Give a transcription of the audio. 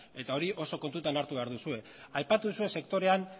eta hori oso kontuan hartu behar duzue aipatu duzue sektorean